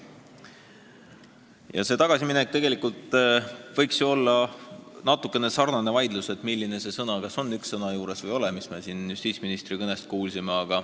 Ja selle tagasimineku juures võiks olla samasugune vaidlus, milliseid üksikuid sõnu kasutada, kas lisada üks sõna või mitte, nagu me siin justiitsministri kõnest just kuulsime.